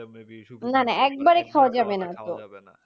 না না একবারে খাওয়া যাবেনা তো